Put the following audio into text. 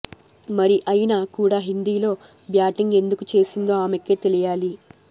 మరి అయినా కూడా హిందీలో బ్యాటింగ్ ఎందుకు చేసిందో ఆమెకే తెలియాలి